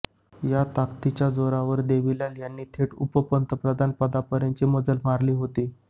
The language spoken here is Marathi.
या ताकदीच्या जोरावरच देवीलाल यांनी थेट उपपंतप्रधान पदापर्यंत मजल मारली होती